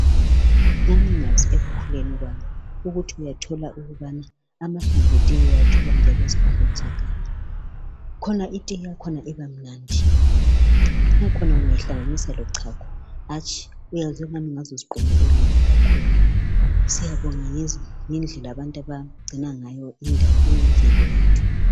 Ngangingazi ekukhuleni kwami ukuthi uyathola ukubana amahlamvu etiye uyawathola njalo ezihlahleni zeganga. Khona itiye yakhona ibamnandi. Ngakhona ungayihlanaganisa lochago hatshi uyezwa angani ungaze uziqhume ulimi kakhulu. Siyabonga ngendlela abantu abangcina ngayo indawo eyimvelo yethu.